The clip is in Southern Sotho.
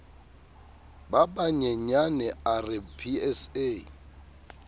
ba banyenyane a re psa